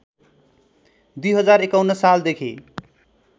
२०५१ साल देखि